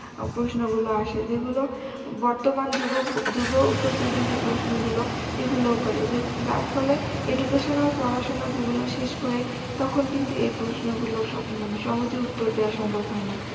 প্রশ্নগুল আসে যেগুলো বর্তমান যুগো~ যুগোপযোগী যে প্রশ্নগুলো এগুলো করে যে যার ফলে educational পড়াশুনা যেগুলো শেষ করে তখন কিন্তু এই প্রশ্নগুলো মানে সম সহজে দেওয়া সম্ভব হয়না